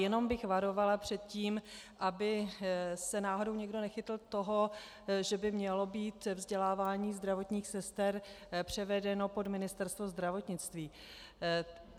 Jenom bych varovala před tím, aby se náhodou někdo nechytl toho, že by mělo být vzdělávání zdravotních sester převedeno pod Ministerstvo zdravotnictví.